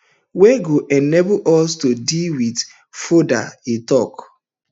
wey go enable us to deal wit fordo e tok